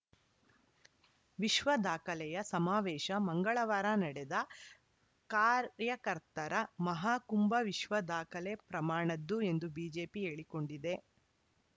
ವಿಶ್ವ ದಾಖಲೆಯ ಸಮಾವೇಶ ಮಂಗಳವಾರ ನಡೆದ ಕಾರ‍್ಯಕರ್ತರ ಮಹಾಕುಂಭ ವಿಶ್ವದಾಖಲೆ ಪ್ರಮಾಣದ್ದು ಎಂದು ಬಿಜೆಪಿ ಹೇಳಿಕೊಂಡಿದೆ